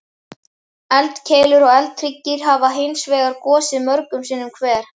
Eldkeilur og eldhryggir hafa hins vegar gosið mörgum sinnum hver.